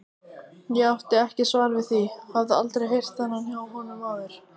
Ég átti ekki svar við því, hafði aldrei heyrt þennan hjá honum áður.